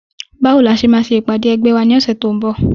Báwo ni a ṣe máa ṣe ìpàdé ẹgbẹ́ wa ní ọ̀sẹ̀ tí ó ń bọ̀?